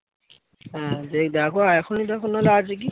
হ্যাঁ সেই দেখো আর এখনই দেখো না হলে আছে কি